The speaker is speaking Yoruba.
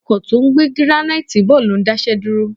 Ọkọ̀ tó ń gbé gíránáìtì bọ̀ ló ń dá iṣẹ́ dúró